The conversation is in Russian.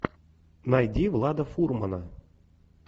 найди влада фурмана